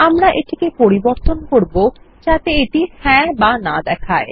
আমরা এটিকে পরিবর্তন করব যাতে এটিহ্যাঁ অথবা না দেখায়